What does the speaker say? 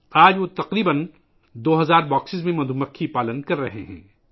آج وہ تقریباً دو ہزار ڈبوں میں شہد کی مکھیاں پال رہا ہے